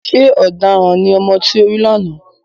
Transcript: Ṣé ọ̀daràn ní ọmọ tí o rí lánàá?